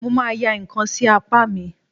Mo ma ya ǹkan sí apá mi.